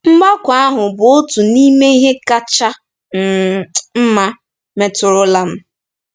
Mgbakọ ahụ bụ otu n'ime ihe kacha um mma metụrụla m.